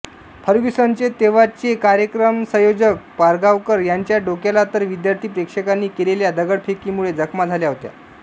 फर्ग्युसनचे तेव्हाचे कार्यक्रमसंयोजक पारगांवकर यांच्या डोक्याला तर विद्यार्थी प्रेक्षकांनी केलेल्या दगडफेकीमुळे जखमा झाल्या होत्या